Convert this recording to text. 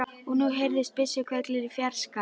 Og nú heyrðust byssuhvellir í fjarska.